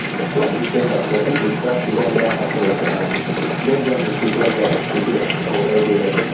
last december some pipo stab ugandan athlete um benjamin kiplagat to death for eldoret